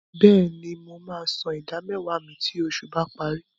Bẹ́ẹ̀ni, mo máa san ìdámẹ́wàá mi tí oṣù bá parí.